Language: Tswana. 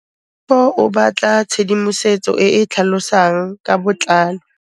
Tlhalefô o batla tshedimosetsô e e tlhalosang ka botlalô.